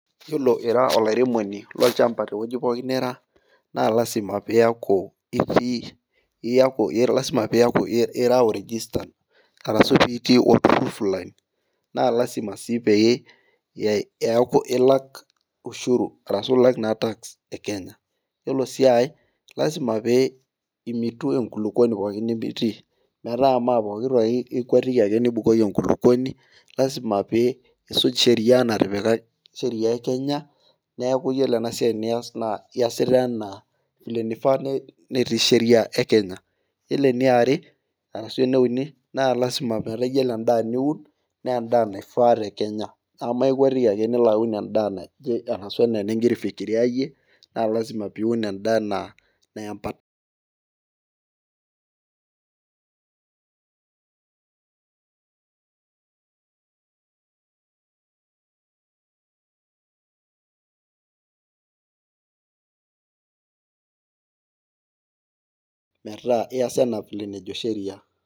Iyiolo ira olairemoni lolchampa te wueji pookin nira naa lasima , pee iyaku iraol registered arashu itii, naa lasima sii pee eeku ilak ushuru arashu ilak task e Kenya. Iyiolo sii ae, lasima pee imitu enkulupuoni, pookin nitii, metaa mme pookin ake ikuetiki, nibukoki enkulupuoni, lasima pee, isuj sheria natipika sheria e Kenya, neeku iyiolo ena siai nias naa iyasita ana vile nifaa netii, Sheria e Kenya, naa lasima meta iyiolo edaa niun, naa edaa naifaa te Kenya, ine ikwetki ake nilo aun edaa, naje arashu ana enigira aifikiria iyie, naa lasima pee iun edaa enaa,